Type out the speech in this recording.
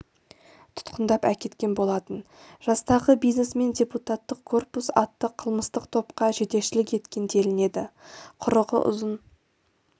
тұтқындап әкеткен болатын жастағы бизнесмен депутаттық корпус атты қылмыстық топқа жетекшілік еткен делінеді құрығы ұзын